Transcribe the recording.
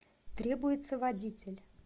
требуется водитель